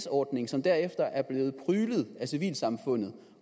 ordning som derefter er blevet pryglet af civilsamfundet